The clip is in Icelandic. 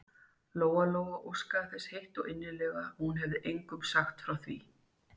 Lóa-Lóa óskaði þess heitt og innilega að hún hefði engum sagt frá því.